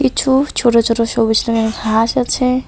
কিছু ছোট ছোট সবুজ রঙের ঘাস আছে।